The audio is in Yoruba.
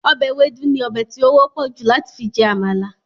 Ọbẹ̀ ewédú ni ọbè ti ó wọ́pọ̀ jù láti fi jẹ àmàlà